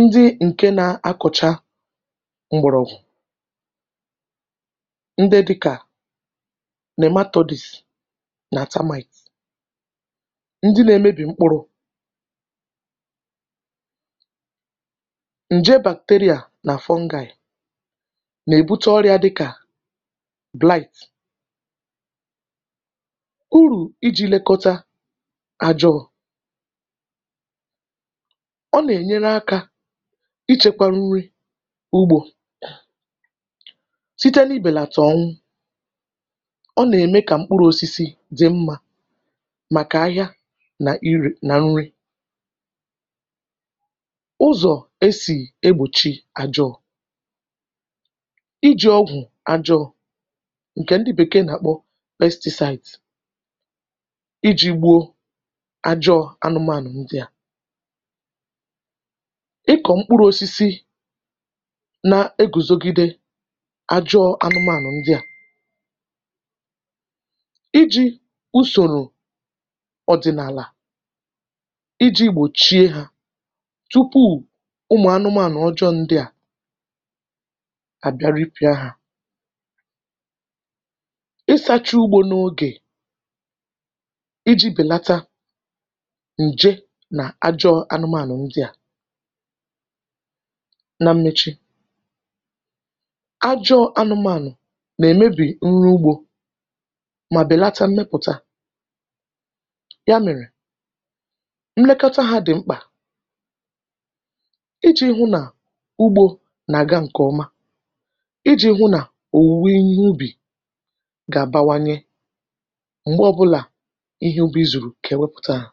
ndị ǹkè na-akọ̀cha m̀gbụ̀rụ̀gwụ̀, ndị dị́kà naematodes nà termite, ndị nà-emebì mkpụrụ njè bacteria nà fungi nà-èbute ọrịȧ dịkà bilite urù iji̇ lėkọta àjọọ̇ ọ nà-ènyere akȧ ichėkwȧ nri ugbȯ site n’ibètà ọṅwu, ọ nà-ème kà mkpụrụ̇ osisi dị̀ mmȧ màkà ahịa nà-ere nà nri. ụzọ̀ e sì egbòchi àjọọ̇ iji̇ ọgwụ̀ àjọọ̇nke ndị bekee na-akpọ pesticide iji̇ gbuo ajọọ̇ anụmànụ̀ ndị à i kọ̀ mkpụrụ̇ osisi na-egùzogide ajọọ̇ anụmànụ̀ ndị à, iji̇ usòrò ọ̀dị̀nàlà iji̇ gbòchie ha tupuù ụmụ̀ anụmànụ̀ ọjọọ̇ ndị à abịa ripia ha, ịsacha ụgbọ n'oge iji̇ bèlata ǹje nà-ajọ̇ anụmànụ̀ ndị à na mmechi ajọ̇ anụmànụ̀ nà-èmebì nri ugbȯ mà bèlata mmepụ̀ta ya mèrè mlekọta ha dị̀ mkpà iji̇ hụ nà ugbȯ nà-àga ǹkè ọma, iji̇ hụ nà-òwùwe ihe ubì gà-àbawanye mgbe obula ihe obi̇ zùrù kà è wẹpụ̀ta hȧ.